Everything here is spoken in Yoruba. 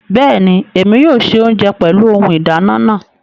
Bẹẹni, Èmi yóò ṣe ounjẹ pẹlu ohùn ìdáná naa